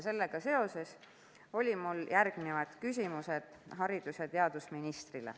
Sellega seoses olid mul haridus- ja teadusministrile järgmised küsimused.